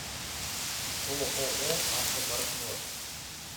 ооо автопартнер